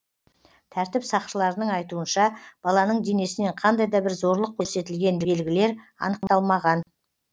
тәртіп сақшыларының айтуынша баланың денесінен қандай да бір зорлық көрсетілген белгілер анықталмаған